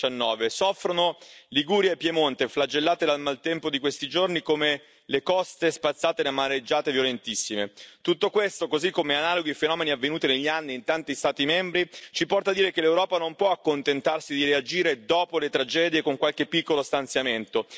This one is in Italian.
2019. Soffrono Liguria e Piemonte, flagellate dal maltempo di questi giorni, come le coste spazzate da mareggiate violentissime. Tutto questo, così come analoghi fenomeni avvenuti negli anni in tanti Stati membri, ci porta a dire che l'Europa non può accontentarsi di reagire dopo le tragedie, con qualche piccolo stanziamento.